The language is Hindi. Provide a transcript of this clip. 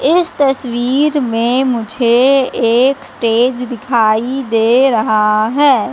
इस तस्वीर में मुझे एक स्टेज दिखाई दे रहा है।